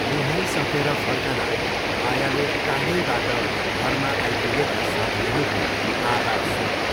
नुहाइसकेर फर्कँदा मायाले टाढैबाट घरमा आइपुगेका साथीहरूको आवाज सुनिन्।